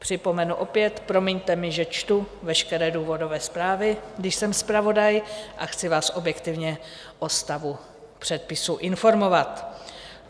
Připomenu opět, promiňte mi, že čtu veškeré důvodové zprávy, když jsem zpravodaj a chci vás objektivně o stavu předpisu informovat.